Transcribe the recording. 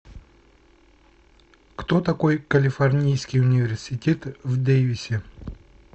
кто такой калифорнийский университет в дейвисе